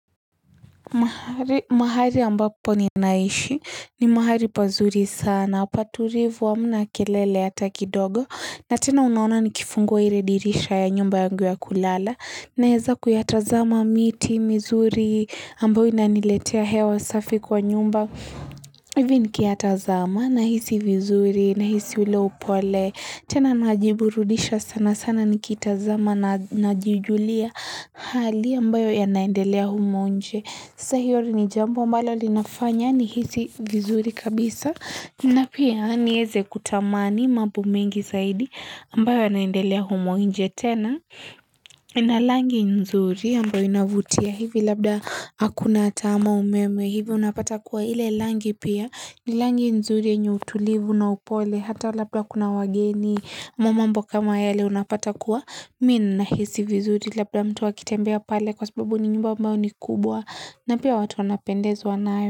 Mahali ambapo ninaishi, ni mahali pazuri sana, patulivu hamna kelele hata kidogo, na tena unaona nikifungwa ile dirisha ya nyumba yangu ya kulala, naweza kuyatazama miti, mizuri, ambayo inaniletea hewa safi kwa nyumba, hivi nikiyatazama, nahisi vizuri, nahisi ule upole, tena najiburudisha sana sana nikitazama na najijulia hali ambayo yanaendelea humo nje. Sasa hiyo ni jambo mbalo linafanya nihisi vizuri kabisa na pia niweze kutamani mambo mengi zaidi ambayo yanaendelea humo nje tena na rangi nzuri ambayo inavutia hivi labda hakuna tama umeme hivi unapata kuwa ile rangi pia ni rangi nzuri yenye utulivu na upole hata labda kuna wageni mambo kama yele unapata kuwa mimi ninahisi vizuri labda mtu akitembea pale kwa sababu ni nyumba ambao ni kubwa na pia watu wanapendezwa nayo.